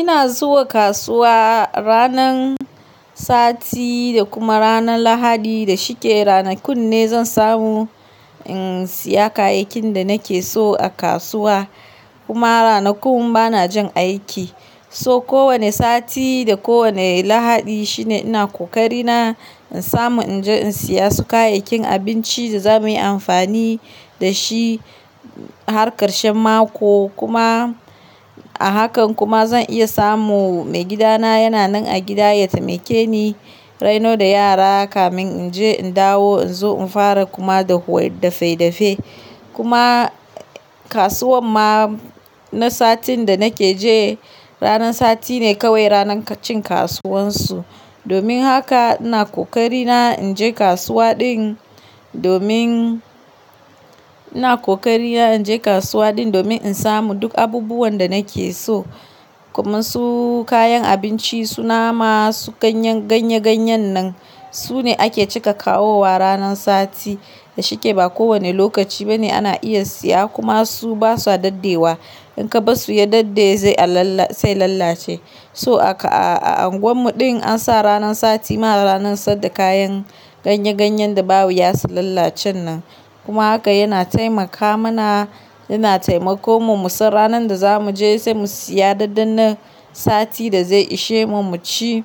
Ina zuwa kasuwa ranan sati da kuma ranan lahadi da shike. Ranakun ne zan samu, in siya kayakin da nake so a kasuwa. Kuma ranakun bana jan aiki. So kowane sati da kowane lahadi shine ina kokari na in samu, in je in siya su kayakin abinci da zamuyi amfani da shi, har karshen mako kuma. A hakan kuma zan iya samu, maigida na yana nan a gida ya taimake ni, raino da yara kafin in je in dawo in zo in fara kuma dafe dafe. Kuma kasuwan ma na satin da nake je, ranan sati ne kawai ranan cin kasuwan su. Domin haka ina kokari na in je kasuwa din domin, ina kokari na in je kasuwa din domin in samu duk abubuwan da nake so. Kuma su kayan abinci su nama, su ganye ganye nan, sune ake cika kawowa ranan sati. Da shike ba kowane lokaci bane ana iya siya kuma su basu dadde wa. In ka bar su ya daddaye zai lalace. So a unguwan mu din an sa ranan sati ma ranan sadda kayan ganye ganye da ba wuya su lalacen nan. Kuma haka yana taimaka mana, yana taimako mu, mu san ranan da zamu je sai mu siya daddanna sati da zai ishe mu mu ci.